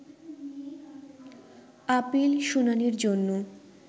appeal শুনানির জন্য